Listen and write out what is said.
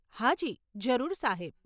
હાજી, જરૂર સાહેબ.